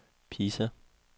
Pisa